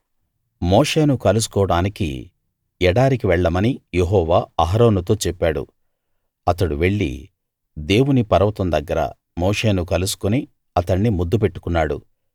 మోషేను కలుసుకోవడానికి ఎడారికి వెళ్ళమని యెహోవా అహరోనుతో చెప్పాడు అతడు వెళ్లి దేవుని పర్వతం దగ్గర మోషేను కలుసుకుని అతణ్ణి ముద్దు పెట్టుకున్నాడు